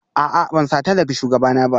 A'a ban sata daga shugabana ba